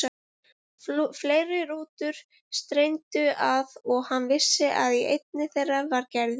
Fleiri rútur streymdu að og hann vissi að í einni þeirra var Gerður.